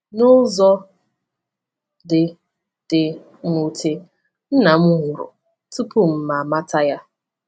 N’ụzọ dị dị mwute, nna m nwụrụ tupu m amata ya.